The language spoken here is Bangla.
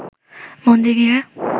মন্দির ঘিরে